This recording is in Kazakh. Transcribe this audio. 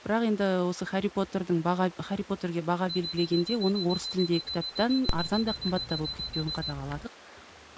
бірақ енді осы хәрри потердің баға хәрри потерге баға белгілегенде оның орыс тіліндегі кітаптан арзан да қымбат та болып кетпеуін қадағаладық